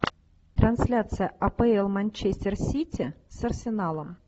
трансляция апл манчестер сити с арсеналом